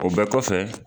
O bɛɛ kɔfɛ